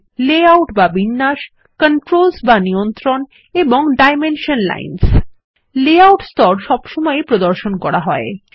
সেগুলি হল লেআউট বা বিন্যাস কন্ট্রোলস বা নিয়ন্ত্রণ এবং ডাইমেনশনসহ লাইনস লেআউট স্তর সবসময় ই প্রদর্শন করা হয়